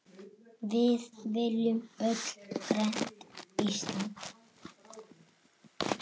Við viljum öll grænt Ísland.